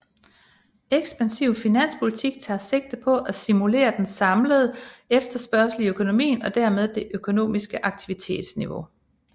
Ekspansiv finanspolitik tager sigte på at stimulere den samlede efterspørgsel i økonomien og dermed det økonomiske aktivitetsniveau